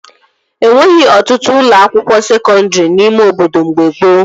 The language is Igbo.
E nweghị ọtụtụ ụlọ akwụkwọ sekọndri n'ime obodo mgbe gboo